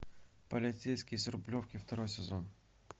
полицейский с рублевки второй сезон